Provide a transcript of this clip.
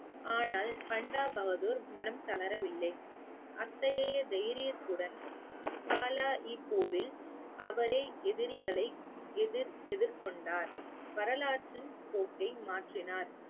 ஆனால் பண்டா பகதூர் மனம் தளரவில்லை அத்தகைய தைரியத்துடன் போரில் அவரே எதிரிகளை எதிர்~ எதிர்கொண்டார் வரலாற்றின் போக்கை மாற்றினார்